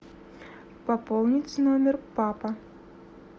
пополнить номер папа